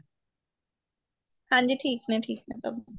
ਹਾਂਜੀ ਠੀਕ ਨੇ ਠੀਕ ਨੇ ਸਭ